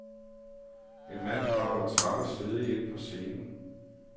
En mand kravler træt og svedig ind på scenen.